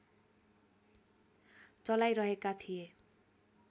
चलाइरहेका थिए